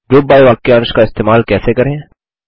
group by वाक्यांश का इस्तेमाल कैसे करें